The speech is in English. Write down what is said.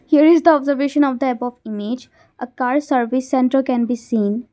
here is the observation of the above image a car service centre can be seen.